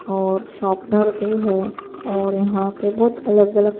.اور شرپنر بھی ہیں اور یہا پی بہوت الگ الگ